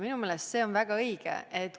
" Minu meelest on see väga õige tähelepanek.